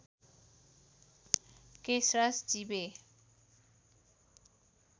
Keshraj Chibe